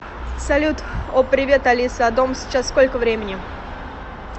салют о привет алиса а дома сейчас сколько времени